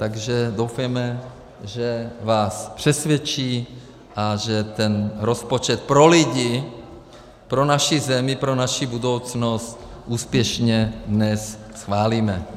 Takže doufejme, že vás přesvědčí a že ten rozpočet pro lidi, pro naši zemi, pro naši budoucnost, úspěšně dnes schválíme.